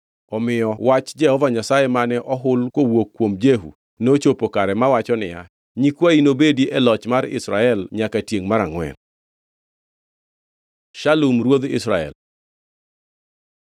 Omiyo wach Jehova Nyasaye mane ohul kowuok kuom Jehu nochopo kare mawacho niya, “Nyikwayi nobedi e loch mar Israel nyaka tiengʼ mar angʼwen.” Shalum ruodh Israel